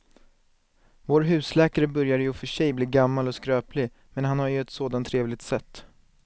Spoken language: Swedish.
Vår husläkare börjar i och för sig bli gammal och skröplig, men han har ju ett sådant trevligt sätt!